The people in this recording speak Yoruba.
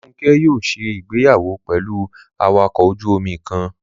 Olúfúnkẹ́ yóò ṣe ìgbéyàwó pẹ̀lú awakọ̀ ojú-omi kan